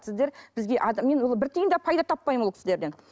сіздер бізге мен ол бір тиын да пайда таппаймын ол кісілерден